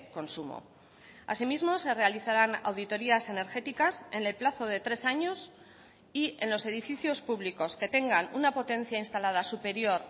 consumo asimismo se realizarán auditorias energéticas en el plazo de tres años y en los edificios públicos que tengan una potencia instalada superior